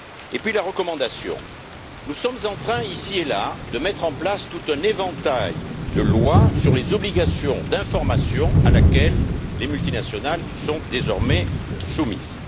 Ensuite, la recommandation nous sommes en train, ici et là, de mettre en place tout un éventail de lois sur les obligations d'information auxquelles les multinationales sont désormais soumises.